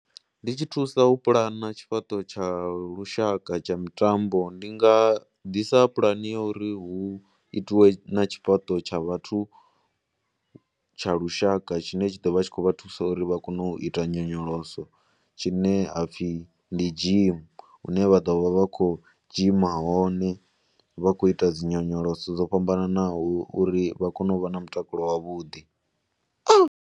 Ndi tshi thusa pulana tshifhaṱo tsha lushaka tsha mitambo ndi nga ḓisa pulane ya uri hu itiwe na tshifhaṱo tsha vhathu tsha lushaka tshine tsha ḓo vha tshi khou vha thusa uri vha kone u ita nyonyoloso tshine ha pfhi ndi dzhimi hune vha ḓo vha vha khou dzhima hone vha khou ita dzi nyonyoloso dzo fhambanaho uri vha kone u vha na mutakalo wavhuḓi.